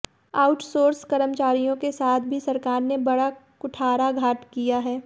outsource कर्मचारियों के साथ भी सरकार ने बड़ा कुठाराघात किया है